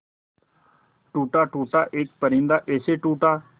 टूटा टूटा एक परिंदा ऐसे टूटा